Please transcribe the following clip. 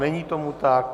Není tomu tak.